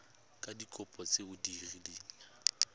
ka dikopo tse o kileng